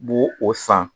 Bo o san